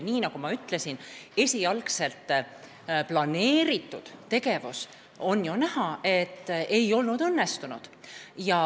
Nagu ma ütlesin, oli ju näha, et esialgselt plaanitud tegevus ei olnud õnnestunud.